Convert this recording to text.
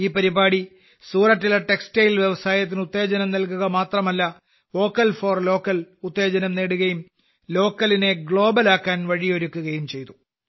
ഈ പരിപാടി സൂറത്തിലെ ടെക്സ്റ്റൈൽ വ്യവസായത്തിന് ഉത്തേജനം നൽകുക മാത്രമല്ല വോക്കൽ ഫോർ ലോക്കൽ ഉത്തേജനം നേടുകയും ലോക്കലിനെ ഗ്ലോബൽ ആക്കാൻ വഴിയൊരുക്കുകയും ചെയ്തു